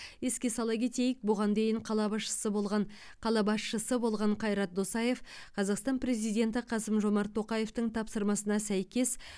еске сала кетейік бұған дейін қала басшысы болған қала басшысы болған қайрат досаев қазақстан президенті қасым жомарт тоқаевтың тапсырмасына сәйкес